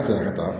A sera ka taa